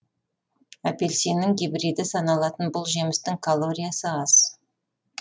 апельсиннің гибриді саналатын бұл жемістің каллориясы аз